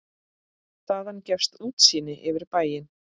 Þaðan gefst útsýni yfir bæinn.